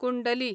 कुंडली